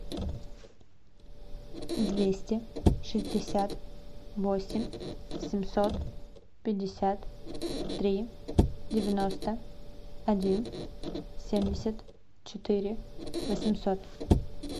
двести шестьдесят восемь семьсот пятьдесят три девяносто один семьдесят четыре восемьсот